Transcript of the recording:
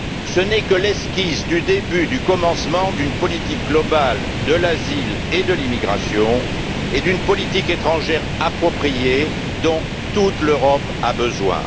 Ce n'est que l'esquisse du début du commencement d'une politique globale de l'asile et de l'immigration et d'une politique étrangère appropriée dont toute l'Europe a besoin.